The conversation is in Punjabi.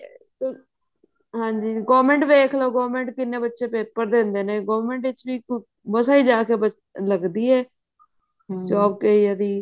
ਹਾਂਜੀ government ਦੇਖਲੋ government ਕਿੰਨੇ ਬੱਚੇ paper ਦਿੰਦੇ ਨੇ government ਵਿੱਚ ਵੀ ਮਸਾਂ ਹੀ ਜਾ ਕੇ ਲੱਗਦੀ ਹੈ job ਕਈ ਉਹਦੀ